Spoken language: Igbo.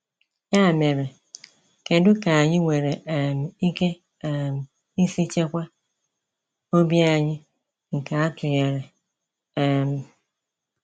Ya mere, kedu ka anyị nwere um ike um isi chekwa obi anyị nke atụnyere? um